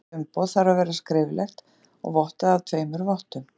Umrætt umboð þarf að vera skriflegt og vottað af tveimur vottum.